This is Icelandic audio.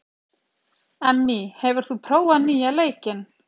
Emmý, hefur þú prófað nýja leikinn?